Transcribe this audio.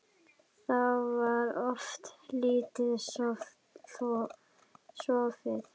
Þá var oft lítið sofið.